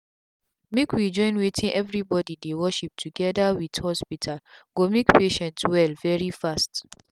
make we join wetin everybody dey worship together with hospital go make patient well very fast.